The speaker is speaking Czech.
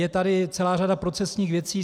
Je tady celá řada procesních věcí.